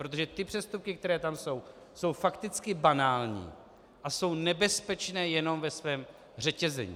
Protože ty přestupky, které tam jsou, jsou fakticky banální a jsou nebezpečné jenom ve svém řetězení.